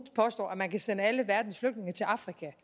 påstår at man kan sende alle verdens flygtninge til afrika